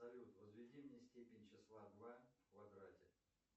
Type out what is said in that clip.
салют возведи мне степень числа два в квадрате